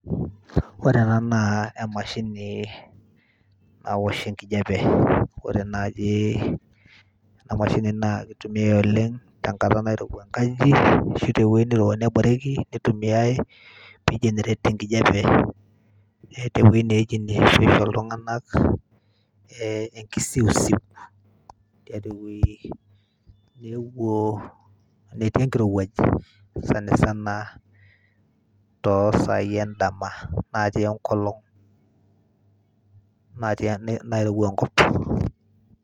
Ore ena naa emashini nawosh enkijape, ore naaji ena mashini naa itumiyai oleng' tenkata nairowua enkaji ashu tewuoi neirowua neboreki nitumia pii generate enkijape. Eeta ewui iltung'anak ee nkisiusiu tiatua ewoi newuo netii enkirowuaj sana sana too saai endama natii enkolong' nairowua enkop pii.